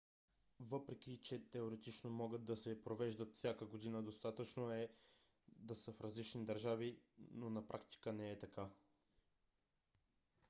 въпреки че теоретично могат да се провеждат всяка година достатъчно е да са в различни държави на практика не е така